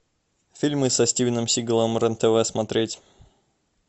фильмы со стивеном сигалом рен тв смотреть